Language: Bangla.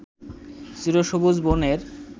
চিরসবুজ বনের